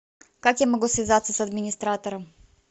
как я могу связаться с администратором